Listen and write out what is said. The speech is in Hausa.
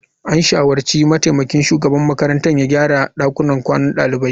An shawarci mataimakin shugaban makarantar ya gyara dakunan kwanan dalibai.